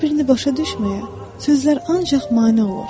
Bir-birini başa düşməyən sözlər ancaq mane olur.